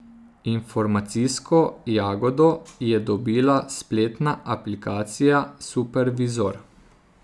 Informacijsko jagodo je dobila spletna aplikacija Supervizor.